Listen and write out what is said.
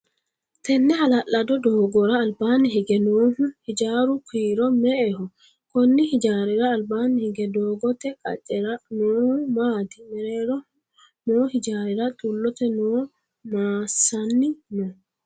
Tenne hala'lado doogora albaanni hige noohu hijaaru kiiro me"eho? Konni hijaarira albaanni hige doogote qacera noohu maati? Mereeroho noo hijaarira xulote mannu masanni no?